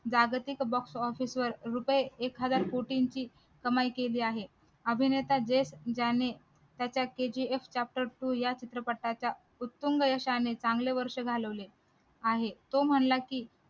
जागतिक box office वर रुपये एखाद्या कोटींची कमाई केली आहे अभिनेता ज्याने त्याचा kgf chapter two या चित्रपटाच्या उत्तम व्यवसायाने चांगले वर्ष झाले घालवले आहे तो म्हणला की